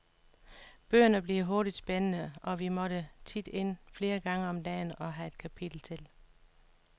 Bøgerne bliver hurtigt spændende, og vi måtte tit ind flere gange om dagen og have et kapitel til.